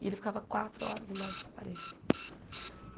E ele ficava quatro horas embaixo desse aparelho.